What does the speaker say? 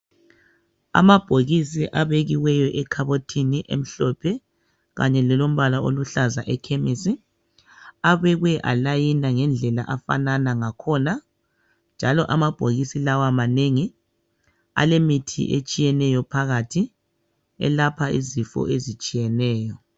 Amabhokisi abekiweyo ekhabothini emhlophe kanye lelombala oluhlaza ekhemisi. Abekwe alayina ngendlela afanana ngakhona njalo amabhokisi lawa manengi alemithi etshiyeneyo phakathi elapha izifo ezitshiyeneyo.